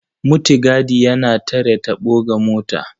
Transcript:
Mutigadi yana tare taɓo ga mota.